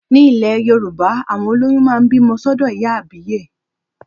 Ní ilẹ̀ Yorùbá, àwọn olóyún máa ń bímọ sọ́dọ̀ ìyá àbíyè